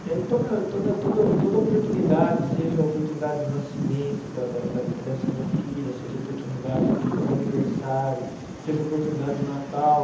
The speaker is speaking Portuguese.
E aí toda toda toda toda oportunidade, seja oportunidade de nascimento da da da dessa minha filha, seja oportunidade do do aniversário, seja oportunidade de Natal,